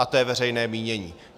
A to je veřejné mínění.